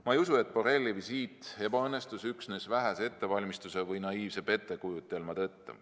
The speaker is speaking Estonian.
Ma ei usu, et Borrelli visiit ebaõnnestus üksnes vähese ettevalmistuse või naiivse pettekujutelma tõttu.